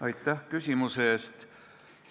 Aitäh küsimuse eest!